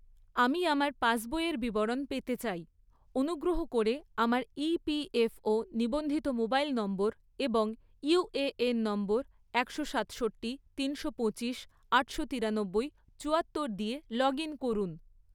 আমি আমার পাসবইয়ের বিবরণ পেতে চাই, অনুগ্রহ করে আমার ইপিএফও ​​নিবন্ধিত মোবাইল নম্বর এবং ইউএএন নম্বর একশো সাতষট্টি, তিনশো পঁচিশ, আটশো তিরানব্বই, চুয়াত্তর দিয়ে লগ ইন করুন